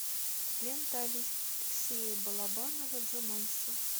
лента алексея балабанова джуманджи